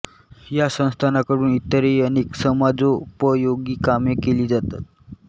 या संस्थानाकडून इतरही अनेक समाजोपयोगी कामे केली जातात